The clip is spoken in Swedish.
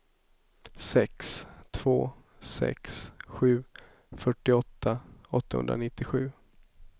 sex två sex sju fyrtiotvå åttahundranittiosju